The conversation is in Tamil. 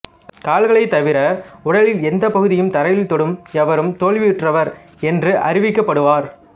கால்களைத் தவிர உடலின் எந்தப் பகுதியையும் தரையில் தொடும் எவரும் தோல்வியுற்றவர் என்று அறிவிக்கப்படுவார்